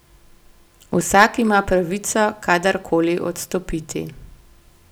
Vsak ima pravico kadar koli odstopiti.